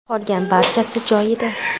Qolgan barchasi joyida.